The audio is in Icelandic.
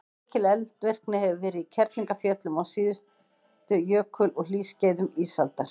mikil eldvirkni hefur verið í kerlingarfjöllum á síðustu jökul og hlýskeiðum ísaldar